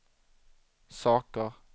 saker